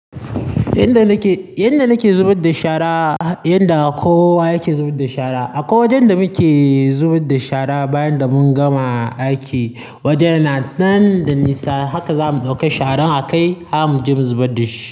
Yanda nake, yanda nake zubar da shara, yanda kowa yake zubar da shara. Akwai wajen da muke zubar da shara bayan da mun gama aiki. Wajen yana nan da nisa haka zamu ɗauki sharan a kai har muje mu zubar dashi.